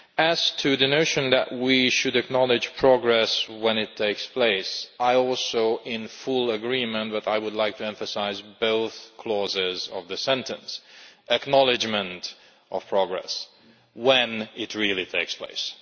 As for the notion that we should acknowledge progress when it takes place, I am also in full agreement, and I would like to emphasise both clauses of the sentence acknowledgment of progress' and when it really takes place'.